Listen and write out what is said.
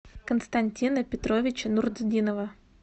константина петровича нуртдинова